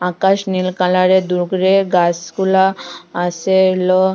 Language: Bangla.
আকাশ নীল কালারের দূরের গাসগুলা আসে লো--